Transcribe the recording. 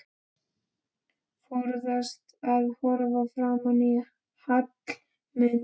Forðast að horfa framan í Hallmund.